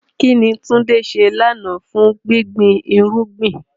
Kín ni Tunde ṣe lánàá fún gbígbin irúgbìn?